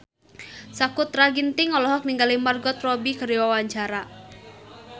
Sakutra Ginting olohok ningali Margot Robbie keur diwawancara